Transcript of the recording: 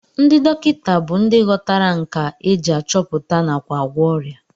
Ndị dọkịta bụ ndị ghọtara nkà e ji achọpụta nakwa agwọ ọrịa